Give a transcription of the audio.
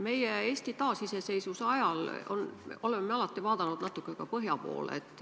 Me oleme Eesti taasiseseisvuse ajal alati vaadanud natuke ka põhja poole.